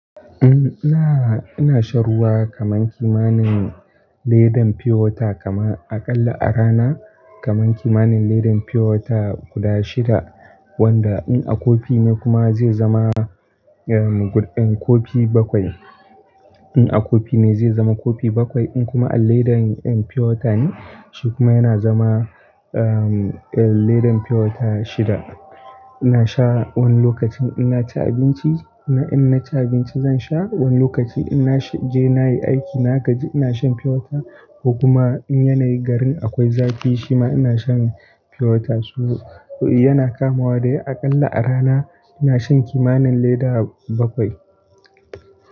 Eh ina, ina sha ruwa kaman kimanin ledan pure water kama aƙalla a rana kaman kimanin ledan pure water guda shida. Wanda in a kofi ne kuma zai zama, ehm, kofi bakwai. In a kofi ne zai zama kofi bakwai, in kuma a ledan pure water ne shi kuma yana zama, ehm, literin pure water shida. Ina sha wani lokacin ina ci abinci, ina, ina ci abinci zan sha, wani lokaci ina je na yi aiki na gaji ina shan pure water ko kuma in yanayi garin akwai zafi shima ina shan pure water. Su, yana kamawa dai aƙalla a rana ina shan kimanin leda bakwai.